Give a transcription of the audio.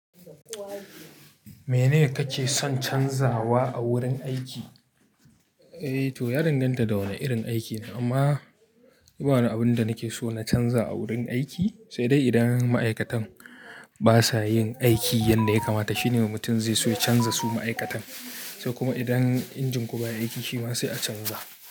Menene kake son canzawa a wurin aiki? Eh to, ya danganta da wane irin aiki ne, amma yi bawani abin da nake so na canza a wurin aiki, sai dai idan ma'aikatan basa yin aiki yanda ya kamata, shine mutum zai so ya canza su ma'aikatan. Sai kuma idan injin ku baya aiki, shi ma sai a canza.